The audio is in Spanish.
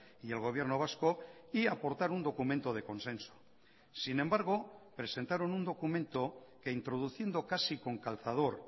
y el gobierno vasco y aportar un documento de consenso sin embargo presentaron un documento que introduciendo casi con calzador